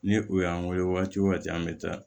Ni u y'an weele wagatiw wagati an bɛ taa